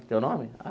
Teu nome?